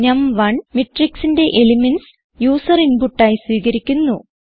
നം1 matrixന്റെ elements user input ആയി സ്വീകരിയ്ക്കുന്നു